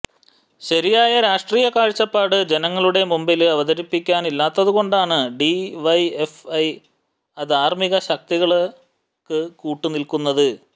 ശരിയായ രാഷ്ട്രീയ കാഴ്ചപ്പാട് ജനങ്ങളുടെ മുമ്പില് അവതരിപ്പിക്കാനില്ലാത്തതുകൊണ്ടാണ് ഡിവൈഎഫ്ഐ അധാര്മ്മിക ശക്തികള്ക്ക് കൂട്ടു നില്ക്കുന്നത്